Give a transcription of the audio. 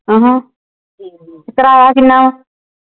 ਆਹਾਂ ਕਿਰਾਇਆ ਕਿੰਨਾ ਵਾ